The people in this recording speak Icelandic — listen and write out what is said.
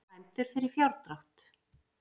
Dæmdur fyrir fjárdrátt